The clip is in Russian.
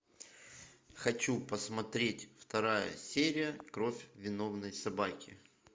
хочу посмотреть вторая серия кровь виновной собаки